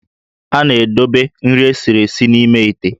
A na-edobe nri esiri esi n'ime íté